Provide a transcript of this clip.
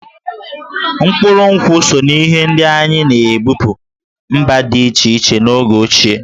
Mkpụrụ nkwụ so n'ihe ndị anyị na-ebupu mba dị iche iche n'oge ochie.